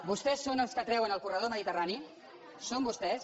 vostès són els que treuen el corredor mediterrani són vostès